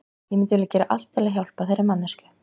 Ég myndi vilja gera allt til að hjálpa þeirri manneskju.